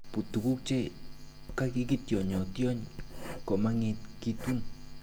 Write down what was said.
But tuguk che kakitionyotiony komengekitun.